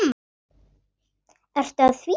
Ertu að því?